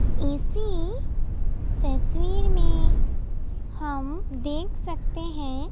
ऐसी तस्वीर में हम देख सकते हैं।